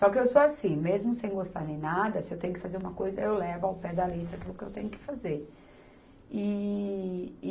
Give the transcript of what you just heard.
Só que eu sou assim, mesmo sem gostar nem nada, se eu tenho que fazer uma coisa, eu levo ao pé da letra aquilo que eu tenho que fazer. E